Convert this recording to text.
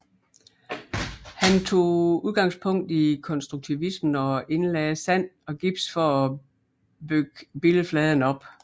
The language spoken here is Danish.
Han tog udgangspunkt i konstruktivismen og indlagde sand og gips for at bygge billedfladen op